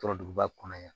Tɔɔrɔ duguba kɔnɔ yan